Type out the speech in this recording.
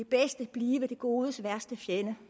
bedste blive det godes værste fjende